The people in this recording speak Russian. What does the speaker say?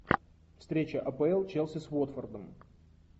встреча апл челси с уотфордом